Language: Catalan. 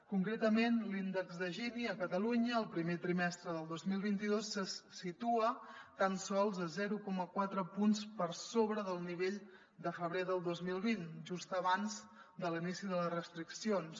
concretament l’índex de gini a catalunya el primer trimestre del dos mil vint dos se situa tan sols a zero coma quatre punts per sobre del nivell de febrer del dos mil vint just abans de l’inici de les restriccions